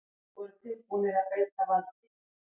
Voru tilbúnir að beita valdi